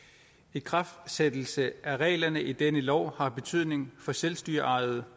ikraftsættelse af reglerne i denne lov har betydning for selvstyreejede